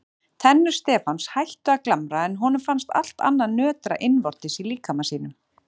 Tennur Stefáns hættu að glamra en honum fannst allt annað nötra innvortis í líkama sínum.